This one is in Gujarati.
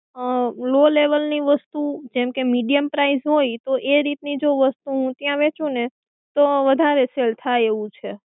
અ low level ની વસ્તુ જેમકે medium price હોય તો એ રીતની જો વસ્તુ ત્યાં વહેંચું ને તો વધારે sell થાય એવું છે.